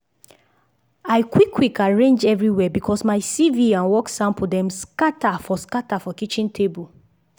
i quick quick arrange everywhere bcos my cv and work sample dem scatter for scatter for kitchen table